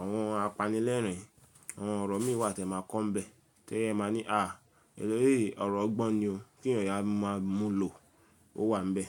àwọn apanilẹ́rìn, àwọn ọ̀rọ̀ mí wà tí ẹ máa kọ́'nbẹ̀ tí ẹ máa ní, àh ọ̀rọ̀ ọgbọ́n ni o kí ènìyàn máa mú lò ó wà níbẹ̀.